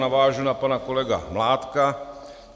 Navážu na pana kolegu Mládka.